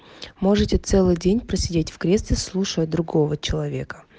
можете целый день просидеть в кресле слушая другого человека